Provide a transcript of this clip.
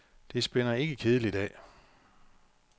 Det spænder ikke kedeligt af.